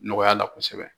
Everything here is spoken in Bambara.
Nɔgɔya la kosɛbɛ